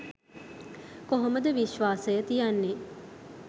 කොහොමද විශ්වාසය තියන්නේ